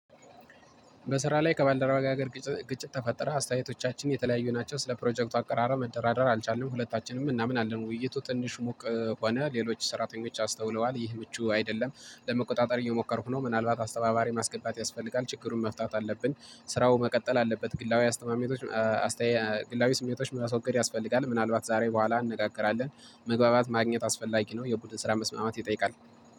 በስራ ላይ ከባልደረባየ ጋር ግጭት ተፈጠረ። አስተያየቶቻችን የተለያዩ ናቸው ስለ ፕሮጀክቱ አቀራረብ መደራደር አልቻልንም። ሁለታችንም እናምናለን ውይይቱ ትንሽ ሙቅ ሆነ። ሌሎች ሰራተኞች አስተውለዋል ይህ ምቹ አይደለም። ለመቆጣጠር እየሞከርኩ ነው ምናልባት አስተባባሪ ማስገባት ያስፈልጋል ችግሩን መፍታት አለብን። ስራው መቀጠል አለበት። ግላዊ አስተማሚቶች ግላዊ ስሜቶች ማስወገድ ያስፈልጋል። ምናልባት ዛሬ በኋላ እንነጋገራለን። መግባባት ማግኘት አስፈላጊ ነው። የቡድን ስራ መስማማት ይጠይቃል